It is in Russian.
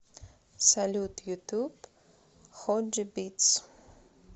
салют ютуб ходжи битс